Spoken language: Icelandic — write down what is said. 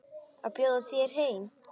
Að bjóða þér heim.